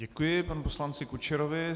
Děkuji panu poslanci Kučerovi.